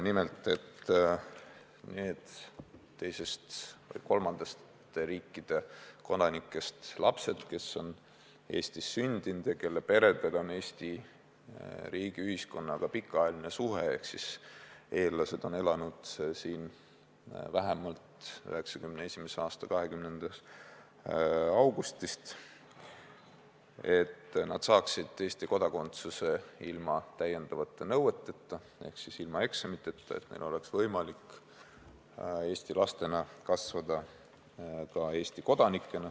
Nimelt on soovitud, et need teiste või kolmandate riikide kodanikest lapsed, kes on Eestis sündinud ja kelle perel on Eesti riigi ja ühiskonnaga pikaajaline suhe ehk kelle eellased on elanud siin vähemalt 1991. aasta 20. augustist, saavad Eesti kodakondsuse ilma täiendavate nõueteta ehk siis ilma eksamiteta ja neil on võimalik Eesti lastena kasvada ka Eesti kodanikena.